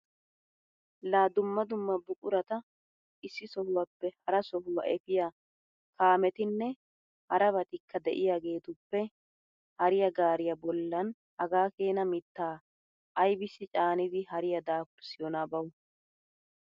Laa dumma dumma buqurata issi sohuwappe hara sohuwa efiya kaametinne harabatikka de'iyageetuppe hariya gaariya bollan hagaa keena mittaa aybissi caanidi hariya daafurssiyonaa bawu!